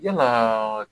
Yalaa